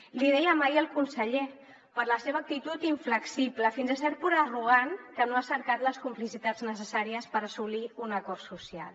l’hi dèiem ahir al conseller per la seva actitud inflexible fins a cert punt arrogant que no ha cercat les complicitats necessàries per assolir un acord social